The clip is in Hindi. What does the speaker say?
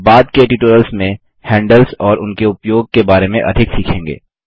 आप बाद के ट्यूटोरियल्स में हैंडल्स और उनके उपयोग के बारे में अधिक सीखेंगे